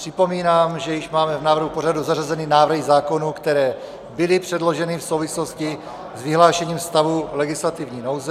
Připomínám, že již máme v návrhu pořadu zařazeny návrhy zákonů, které byly předloženy v souvislosti s vyhlášením stavu legislativní nouze.